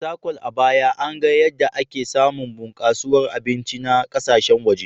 Fatakwal, a baya, an ga yadda ake samun bunkasuwar abinci na kasashen waje..